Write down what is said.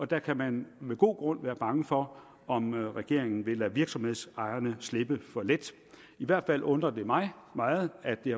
der kan man med god grund være bange for om regeringen vil lade virksomhedsejerne slippe for let i hvert fald undrer det mig meget at det